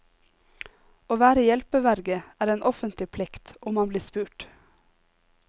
Å være hjelpeverge er en offentlig plikt, om man blir spurt.